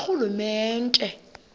karhulumente